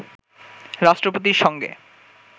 রাষ্ট্রপতির সঙ্গে